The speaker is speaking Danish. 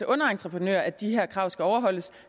underentreprenører at de her krav skal overholdes